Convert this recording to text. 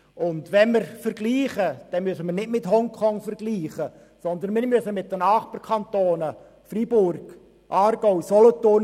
Wenn wir uns schon vergleichen, sollten wir dies nicht mit Hongkong tun, sondern mit den Nachbarkantonen Freiburg, Aargau und Solothurn.